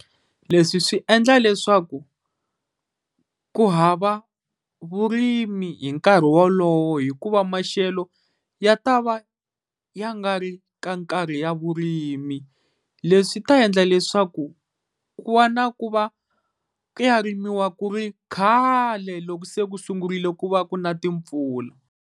Leswi swi endla leswaku ku hava vurimi hi nkarhi wolowo, hikuva maxelo ya ta va ya nga ri ka nkarhi wa vurimi. Leswi swi ta endla leswaku ku va na ku ya rimiwa ku ri khale loko se ku sungurile ku va ku na timpfula.